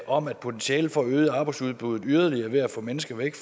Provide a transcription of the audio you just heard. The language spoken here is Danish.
om at potentialet for at øge arbejdsudbuddet yderligere ved at få mennesker væk